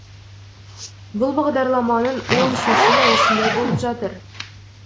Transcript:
бұл бағдарламаның оң шешімі осындай болып жатыр